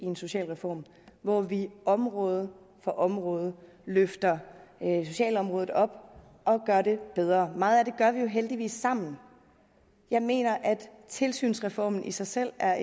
i en socialreform hvor vi område for område løfter socialområdet op og gør det bedre meget af det gør vi jo heldigvis sammen jeg mener at tilsynsreformen i sig selv er